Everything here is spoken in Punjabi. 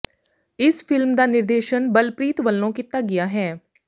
ਇਸ ਫ਼ਿਲਮ ਦਾ ਨਿਰਦੇਸ਼ਨ ਬਲਪ੍ਰੀਤ ਵੱਲੋਂ ਕੀਤਾ ਗਿਆ ਹੈ